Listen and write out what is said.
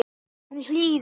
Hún hlýðir.